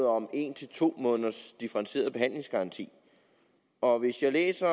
om en til to måneders differentieret behandlingsgaranti og hvis jeg læser